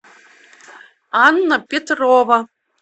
анна петрова